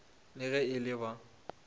le ge e le ba